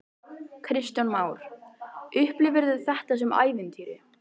Kristján Már: Upplifirðu þetta sem ævintýri?